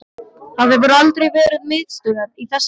Það hefur aldrei verið miðstöð í þessari vél